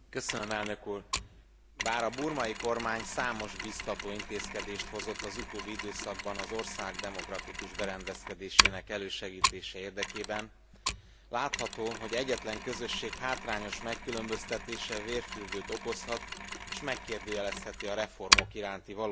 Bár a burmai kormány számos biztató intézkedést hozott az utóbbi időszakban az ország demokratikus berendezkedésének elősegítése érdekében, látható, hogy egyetlen közösség hátrányos megkülönböztetése vérfürdőt okozhat, és megkérdőjelezheti a reformok iránti valódi elkötelezettséget.